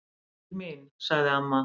Guðbjörg mín, sagði amma.